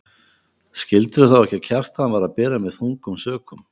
Skildirðu þá ekki að Kjartan var að bera mig þungum sökum?